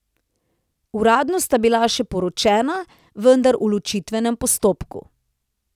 Uradno sta bila še poročena, vendar v ločitvenem postopku.